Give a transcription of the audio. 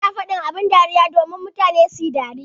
Ana faɗin abin dariya domin mutane suyi dariya.